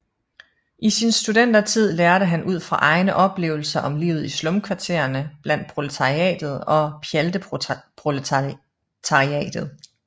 I sin studentertid lærte han ud fra egne oplevelser om livet i slumkvarterne blandt proletariatet og pjalteproletariatet